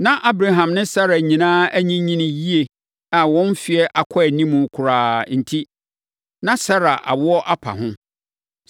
Na Abraham ne Sara nyinaa anyinyini yie a wɔn mfeɛ akɔ animu koraa enti, na Sara awoɔ apa ho.